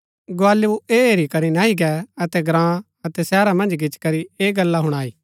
गुआलु ऐह हेरी करी नह्ही गै अतै ग्राँ अतै शहरा मन्ज गिच्ची करी ऐह गल्ला हुणाई